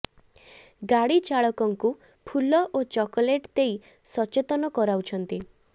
ଗାଡି ଚାଳକଙ୍କୁ ଫୁଲ ଓ ଚକୋଲେଟ୍ ଦେଇ ସଚେତନ କରାଉଛନ୍ତି